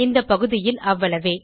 இந்த பகுதியில் அவ்வளவே